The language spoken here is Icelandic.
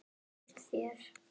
Finnst þér?